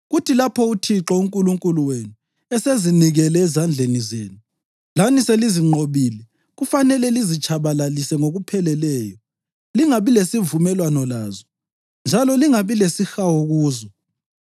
kuthi lapho uThixo uNkulunkulu wenu esezinikele ezandleni zenu lani selizinqobile kufanele lizitshabalalise ngokupheleleyo. Lingabi lesivumelwano lazo, njalo lingabi lesihawu kuzo.